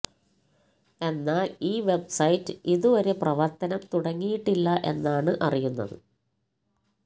എന്നാൽ ഈ വെബ്സൈറ്റ് ഇതു വരെ പ്രവർത്തനം തുടങ്ങിയിട്ടില്ല എന്നാണ് അറിയുന്നത്